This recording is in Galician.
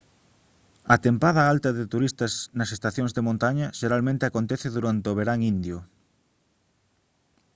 a tempada alta de turistas nas estacións de montaña xeralmente acontece durante o verán indio